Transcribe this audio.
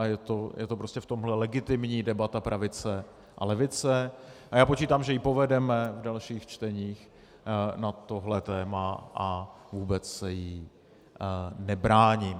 A je to prostě v tomhle legitimní debata pravice a levice a já počítám, že ji povedeme v dalších čteních na tohle téma, a vůbec se jí nebráním.